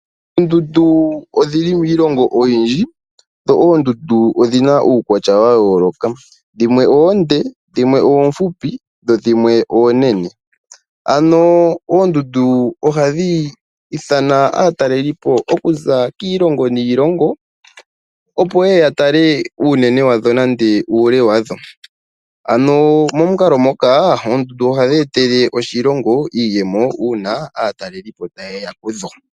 Oondundu odhili miilongo oyindji dho oondundu odhina uukwatya wa yooloka dhimwe oonde dhimwe oofupi dho dhimwe oonene ano oondundu ohadhi ithana aatalelipo okuza kiilongo niilongo opo yeye ya tale uunene wadho nenge uule wadho ano momukalo moka oondundu ohadhi etele oshilongo iiyemo uuna aatalelipo tayeya kudho.